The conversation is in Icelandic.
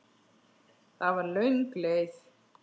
Það var löng leið.